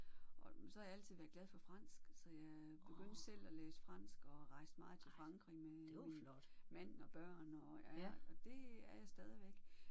Og så har jeg altid været glad for fransk så jeg begyndte selv at læse fransk og rejste meget til Frankrig med min mand og børn og ja og det er jeg stadigvæk